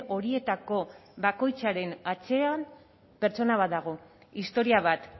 horietako bakoitzaren atzean pertsona bat dago historia bat